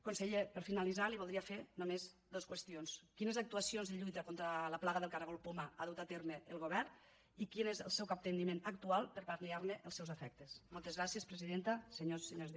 conseller per finalitzar li voldria fer només dos qüestions quines actuacions de lluita contra la plaga del caragol poma ha dut a terme el govern i quin és el seu capteniment actual per a palmoltes gràcies presidenta senyors i senyores diputats